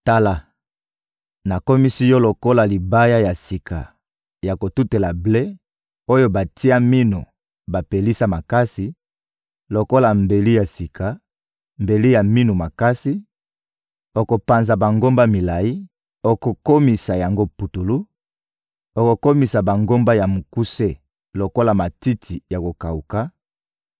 «Tala, nakomisi yo lokola libaya ya sika ya kotutela ble, oyo batia minu bapelisa makasi, lokola mbeli ya sika, mbeli ya minu makasi; okopanza bangomba milayi, okokomisa yango putulu; okokomisa bangomba ya mikuse lokola matiti ya kokawuka,